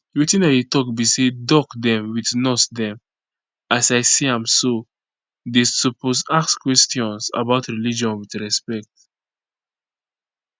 wetin i dey talk be say doc dem with nurse dem as i see am so dey suppose ask questions about religion with respect